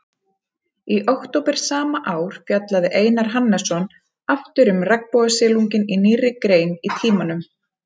Í október sama ár fjallaði Einar Hannesson aftur um regnbogasilunginn í nýrri grein í Tímanum.